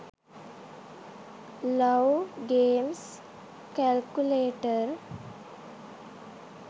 love games calculator